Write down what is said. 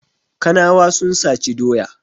Kanawa sun saci doya.